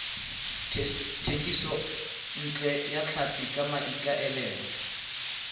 thekisontle ya tlhapi ka maikaelelo